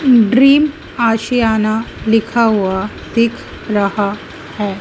Dream Aashiyana लिखा हुआ दिख रहा है।